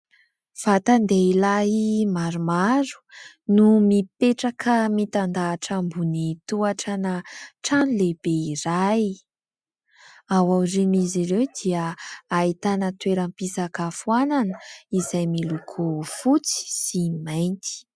Vatan-dehilahy maromaro no mipetraka mitan-dahatra ambony tohatrana trano lehibe iray. Ao aorian'izy ireo dia ahitana toeram-pisakafoanana izay miloko fotsy sy mainty.